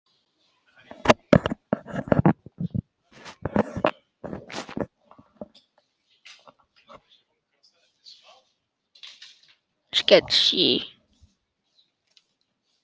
Þú skiptir um filmu!